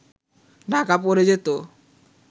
ঢাকা পড়ে যেত